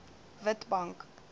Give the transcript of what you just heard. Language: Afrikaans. witbank